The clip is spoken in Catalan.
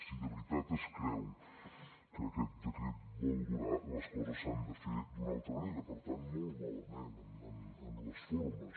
si de veritat es creu que aquest decret vol durar les coses s’han de fer d’una altra manera per tant molt malament en les formes